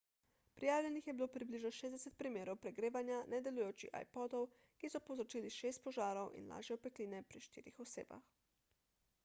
prijavljenih je bilo približno 60 primerov pregrevanja nedelujočih ipodov ki so povzročili šest požarov in lažje opekline pri štirih osebah